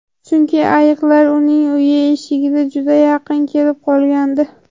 Chunki ayiqlar uning uyi eshigiga juda yaqin kelib qolgandi.